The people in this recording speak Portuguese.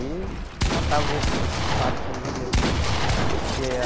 E contavam isso, esses fatos que eles viveram, né? De que